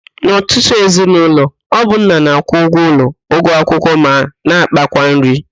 N'ọtụtụ ezinaụlọ, ọ bụ nna na-akwụ ụgwọ ụlọ, ụgwọ akwụkwọ ma na ákpákwa nri